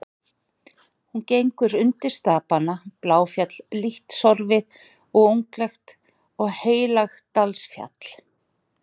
Hún gengur undir stapana Bláfjall, lítt sorfið og unglegt, og Heilagsdalsfjall.